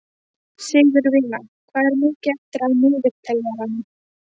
Sigurvina, hvað er mikið eftir af niðurteljaranum?